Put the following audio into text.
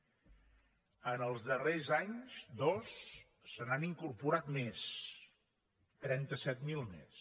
en els darrers anys dos se n’han incorporat més trenta set mil més